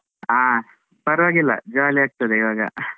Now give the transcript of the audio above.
ಹಾ ಪರವಾಗಿಲ್ಲ, jolly ಆಗ್ತದೆ ಇವಾಗ .